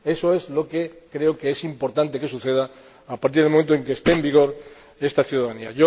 Eso es lo que creo que es importante que suceda a partir del momento en que esté en vigor esta iniciativa ciudadana.